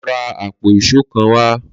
Lọ ra àpò ìṣó kan wá!